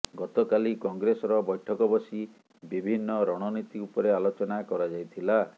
ଗତକାଲି କଂଗ୍ରେସର ବୈଠକ ବସି ବିଭିନ୍ନ ରଣନୀତି ଉପରେ ଆଲୋଚନା କରାଯାଇଥିଲା